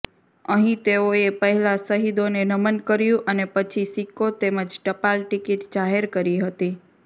અહીં તેઓએ પહેલા શહીદોને નમન કર્યું અને પછી સિક્કો તેમજ ટપાલ ટિકિટ જાહેર કરી હતી